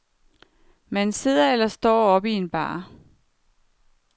Man sidder eller står op i en bar.